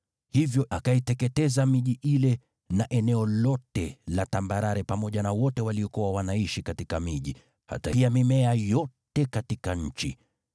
Hivyo akaiteketeza miji ile na eneo lote la tambarare, pamoja na wote waliokuwa wanaishi katika miji, hata pia mimea yote katika nchi.